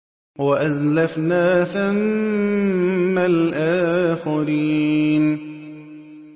وَأَزْلَفْنَا ثَمَّ الْآخَرِينَ